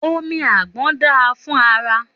Òmí àgbón dà fún àrá.